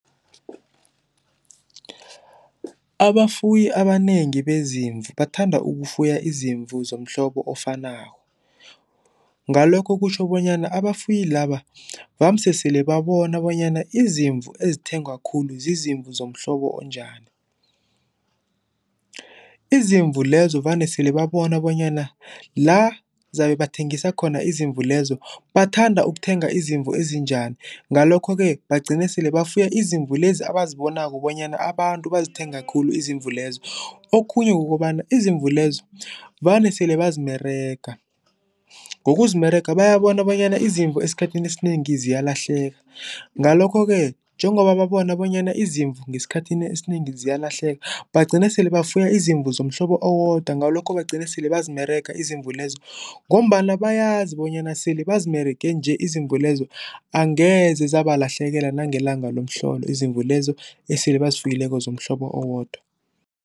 Abafuyi abanengi bezimvu bathanda ukufuya izimvu zomhlobo ofanako, ngalokho kutjho bonyana abafuyi laba vamise sele babona bonyana izimvu ezithengwa khulu zizimbi zomhlobo onjani. Izimvu lezo vane sele babona bonyana la zabe bathengisa khona izimvu lezo bathanda ukuthenga izimvu ezinjani, ngalokho-ke bagcine sele bafuya izimvu lezi abazibonako bonyana abantu bazithenga khulu izimvu lezo. Okhunye kukobana izimvu lezo vane sele bazimerega. Ngokuzimerega, bayabona bonyana izimvu esikhathini esinengi ziyalahleka, ngalokho-ke njengoba babona bonyana izimvu ngesikhathini esinengi ziyalahleka, bagcine sele bafuya izimvu zomhlobo owodwa. Ngalokho bagcine sele bazimerega izimvu lezo ngombana bayazi bonyana sele bazimerege nje izimvu lezo angeze zabalahlekela nangelanga lomhlolo, izimvu lezo esele bazifuyileko zomhlobo owodwa.